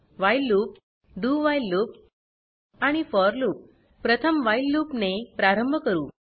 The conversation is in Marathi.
व्हाईल लूप dowhile लूप आणि फोर लूप प्रथम व्हाईल लूप ने प्रारंभ करू